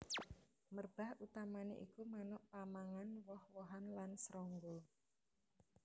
Merbah utamané iku manuk pamangan woh wohan lan srangga